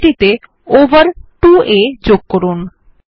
রাশিটিতে over 2আ যোগ করুন